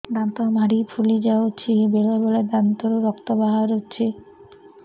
ଦାନ୍ତ ମାଢ଼ି ଫୁଲି ଯାଉଛି ବେଳେବେଳେ ଦାନ୍ତରୁ ରକ୍ତ ବାହାରୁଛି